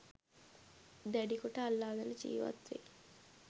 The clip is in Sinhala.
දැඩිකොට අල්ලාගෙන ජීවත්වෙයි.